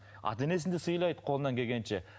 ата енесін де сыйлайды қолынан келгенше